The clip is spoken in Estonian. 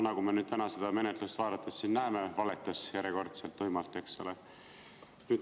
Nagu me täna seda menetlust vaadates siin näeme, ta järjekordselt tuimalt valetas, eks ole.